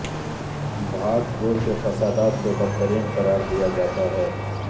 بھاگپور کے فسادات کو بدترین قرار دیا جاتا ہے